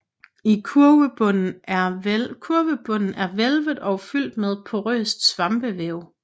Kurvebunden er hvælvet og fyldt med porøst svampevæv